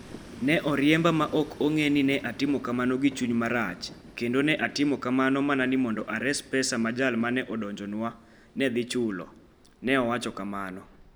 Ne oriemba ma ok ong'e ni ne atimo kamano gi chuny marach kendo ne atimo kamano mana ni mondo ares pesa ma jal ma ne odonjnwano ne dhi chulo, ne owacho kamano.